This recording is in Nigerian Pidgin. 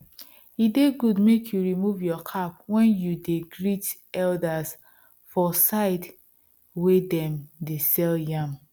e de good make you remove your cap when you dey greet elders for side wey dem de sell yam